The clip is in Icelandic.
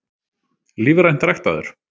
Lífrænt ræktaður?